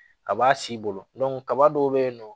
Ka b'a si bolo kaba dɔw bɛ yen nɔ